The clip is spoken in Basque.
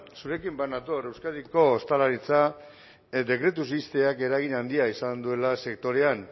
zurekin bat nator euskadiko ostalaritza dekretuz ixteak eragin handia izan duela sektorean